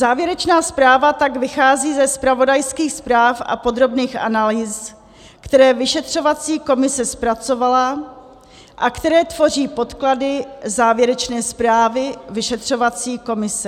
Závěrečná zpráva tak vychází ze zpravodajských zpráv a podrobných analýz, které vyšetřovací komise zpracovala a které tvoří podklady závěrečné zprávy vyšetřovací komise.